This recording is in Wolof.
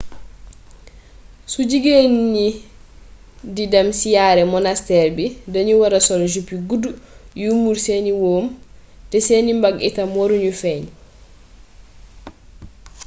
su jigéen ñi d idem siyaare monasteer bi dañu wara soll jupe yu gudd yuy muur seeni wóom te seeni mbagg itam waru ñu feeñ